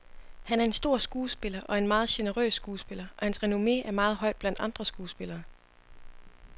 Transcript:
Han er en stor skuespiller og en meget generøs skuespiller, og hans renomme er meget højt blandt andre skuespillere.